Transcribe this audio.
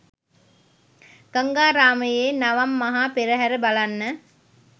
ගංගාරාමයේ නවම් මහා පෙරහර බලන්න